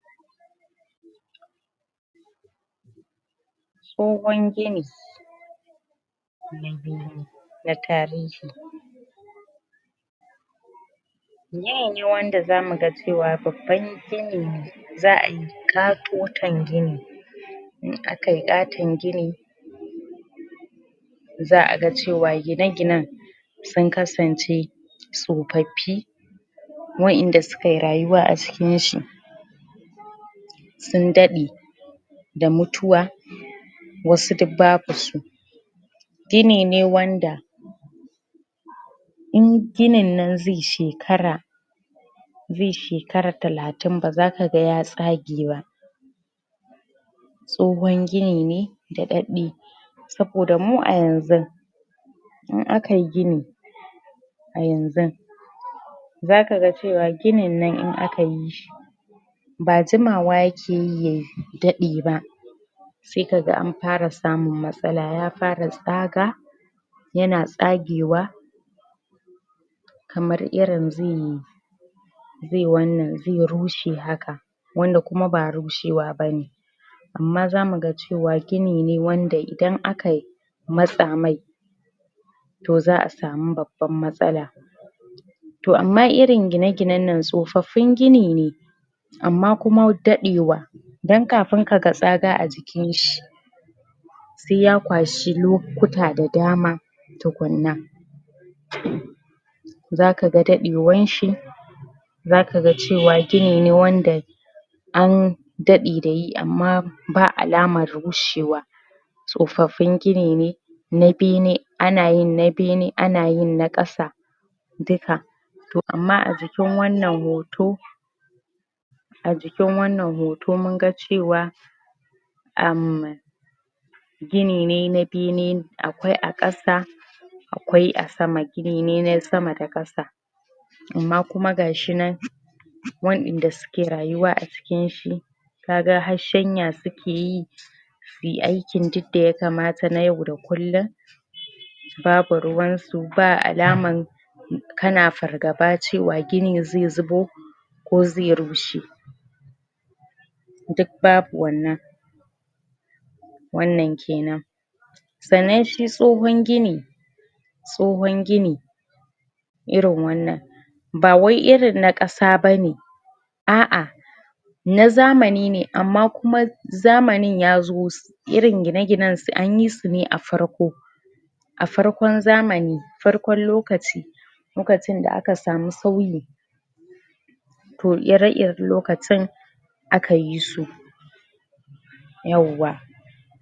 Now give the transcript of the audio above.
tsohon gini? na tarihi gini ne wanda zamu ga cewa babban gini ne za'a yi ƙatoton gini in aka yi ƙaton gini za a ga cewa gine ginen sun kasance tsofaffi wa inda sukayi rayuwa a cikin shi sun daɗe da mutuwa wasu duk ba bu su gini ne wanda in gininnan zai shekara zai shekara talatin baza kaga ya tsage ba tsohon gini ne daɗaɗɗe saboda mu a yanzun in akayi gini a yanzun zaka ga cewa gininnan in aka yi shi ba jimawa yake yi ya daɗe ba sai kaga anfara samun matsala ya fara tsaga ya na tsagewa kamar irin zai zai wannan zai rushe haka wanda kuma ba rushewa ba ne amma zamu ga cewa gini ne wanda idan akayi matsa mai to za'a sami babban matsala to amma irin gine ginennan tsofaffin gini ne amma kuma daɗewa dan kafin kaga tsaga a jikin shi sai ya kwashi lokuta da dama tukunna zaka ga daɗewan shi zaka ga cewa gini ne wanda an daɗe da yi amma ba alamar rushewa tsofaffin gini ne na bene ana yin na bene ana yin na ƙasa duka to amma a jikin wannan hoto a jikin wannan hoto mun ga cewa amman gini ne na bene akwai a ƙasa akwai a sama gini ne na sama da ƙasa amma kuma gashi nan wa inda suke rayuwa a cikin shi kaga har shanya suke yi suyi aikin duk da ya kamata na yau da kullum babu ruwansu ba alaman kana fargaba cewa gini zai zubo ko zai rushe duk babu wannan wannan kenan sannan shi tsohon gini tsohon gini irin wannan ba wai irin na ƙasa ba ne a'a na zamani ne amma kuma zamanin yazo ss irin gine ginen ss anyi su ne a farko a farkon zamani farkon lokaci lokacin da aka samu sauyi to ire iren lokacin aka yi su yawwa